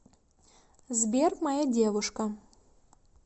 сбер моя девушка